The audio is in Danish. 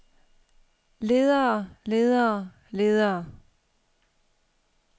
ledere ledere ledere